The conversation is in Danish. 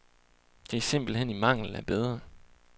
Det er simpelt hen i mangel af bedre.